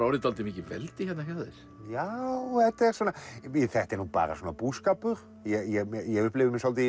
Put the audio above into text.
orðið dálítið mikið veldi hjá þér já þetta er nú bara svona búskapur ég upplifi mig svolítið